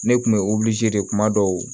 Ne kun bɛ de kuma dɔw